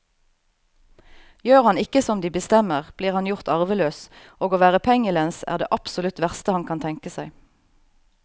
Gjør han ikke som de bestemmer, blir han gjort arveløs, og å være pengelens er det absolutt verste han kan tenke seg.